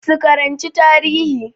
Su karanci tarihi